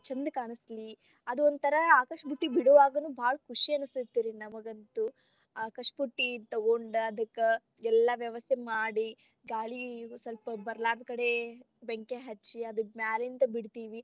ಚಂದ ಕಾಣಿಸ್ಲಿ ಅದೊಂಥರಾ ಆಕಾಶ ಬುಟ್ಟಿ ಬಿಡುವಾಗನು ಬಾಳ ಖುಷಿ ಅನಸ್ತೇತಿ ರೀ ನಮಗಂತೂ ಆಕಾಶ ಬುಟ್ಟಿ ತೊಗೊಂಡ ಅದಕ್ಕ ಎಲ್ಲಾ ವ್ಯವಸ್ಥೆ ಮಾಡಿ ಗಾಳಿ ಸ್ವಲ್ಪ ಬರಲಾರದ ಕಡೆ ಬೆಂಕಿ ಹಚ್ಚಿ, ಅದ್ನ್ ಮ್ಯಾಲಿಂದ ಬಿಡ್ತೀವಿ.